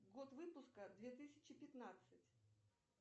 год выпуска две тысячи пятнадцать